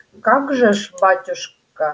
как же ш батюшка явственно помню